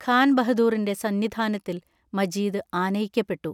ഖാൻ ബഹദൂറിന്റെ സന്നിധാനത്തിൽ മജീദ് ആനയിക്കപ്പെട്ടു.